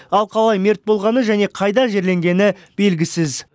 ал қалай мерт болғаны және қайда жерленгені белгісіз